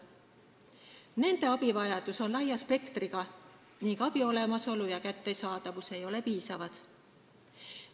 Nende abivajadus on laia spektriga ning abi olemasolu ja kättesaadavus ei ole piisavad.